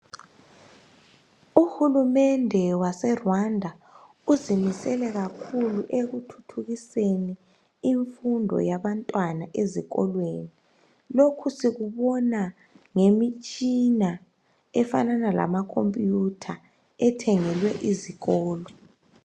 Uhulumende wase Rwanda uzimisele kakhulu ekuthuthukiseni imfundo yabantwana bezikolweni. Lokhu sikubona ngemitshina efanana lama khompiyutha ethengelwe izikolo.